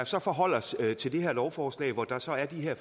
så forholde os til det her lovforslag hvor der så er de her